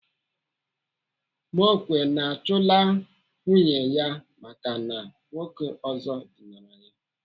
Mokwe na-achụla nwunye ya maka na nwoke ọzọ dinara ya.